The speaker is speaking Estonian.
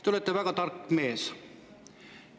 Te olete väga tark mees.